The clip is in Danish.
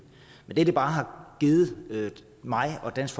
men det det bare har givet mig og dansk